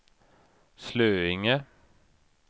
Slöinge